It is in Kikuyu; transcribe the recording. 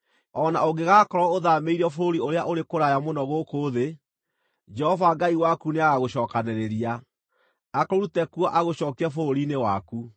O na ũngĩgaakorwo ũthaamĩirio bũrũri ũrĩa ũrĩ kũraya mũno gũkũ thĩ, Jehova Ngai waku nĩagagũcookanĩrĩria, akũrute kuo agũcookie bũrũri-inĩ waku.